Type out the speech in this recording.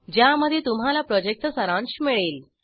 ज्यामध्ये तुम्हाला प्रॉजेक्टचा सारांश मिळेल